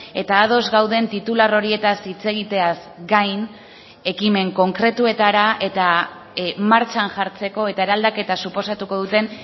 eta ados gauden titular horietaz hitz egiteaz gain ekimen konkretuetara eta martxan jartzeko eta eraldaketa suposatuko duten